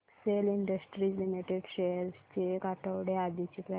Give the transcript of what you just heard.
Excel Industries Limited shares ची एक आठवड्या आधीची प्राइस